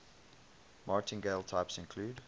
martingale types include